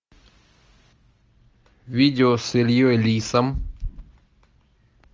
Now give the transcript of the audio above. видео с ильей лисом